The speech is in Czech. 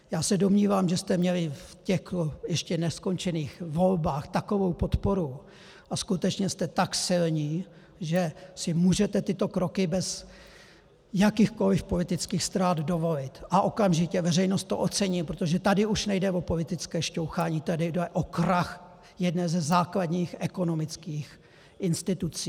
Já se domnívám, že jste měli v těch ještě neskončených volbách takovou podporu a skutečně jste tak silní, že si můžete tyto kroky bez jakýchkoliv politických ztrát dovolit, a okamžitě veřejnost to ocení, protože tady už nejde o politické šťouchání, tady jde o krach jedné ze základních ekonomických institucí.